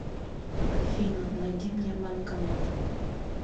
афина найди мне банкомат